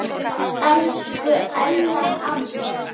Elsku Ella amma.